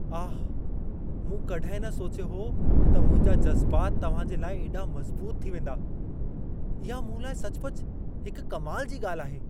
आह! मूं कॾहिं न सोचियो हो त मुंहिंजा जज़्बात तव्हां जे लाइ एॾा मज़बूत थी वेंदा। इहा मूं लाइ सचुपचु हिक कमाल जी ॻाल्हि आहे।